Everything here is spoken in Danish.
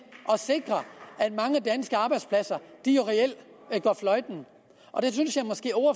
sikre at mange danske arbejdspladser reelt går fløjten og det synes jeg